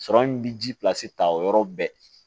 Sɔrɔ min bi ji pilasi ta o yɔrɔ bɛɛ